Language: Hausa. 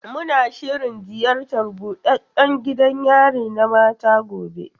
Muna shirin ziyartar buɗaɗɗan gidan yari na mata gobe.